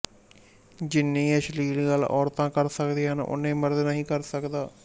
ਜਿੰਨੀ ਅਸ਼ਲੀਲ ਗੱਲ ਔਰਤਾਂ ਕਰ ਸਕਦੀਆਂ ਹਨਓਨੀਂਂ ਮਰਦ ਨਹੀਂ ਕਰ ਸਕਦਾ